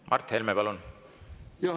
Mart Helme, palun!